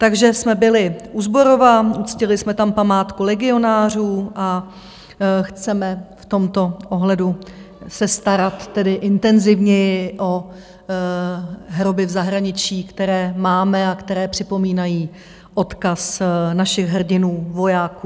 Takže jsme byli u Zborova, uctili jsme tam památku legionářů a chceme v tomto ohledu se starat tedy intenzivněji o hroby v zahraničí, které máme a které připomínají odkaz našich hrdinů, vojáků.